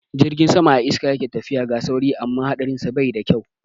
Jirgin sama a iska yake tafiya, ga sauri amma haɗarinsa bai da kyau.